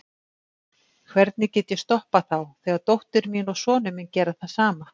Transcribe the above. Hvernig get ég stoppað þá þegar dóttir mín og sonur minn gera það sama?